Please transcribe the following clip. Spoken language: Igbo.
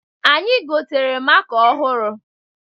Anyị gotere maka ọhụrụ.